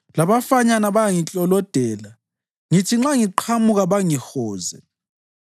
Labafanyana bayangiklolodela; ngithi nxa ngiqhamuka bangihoze.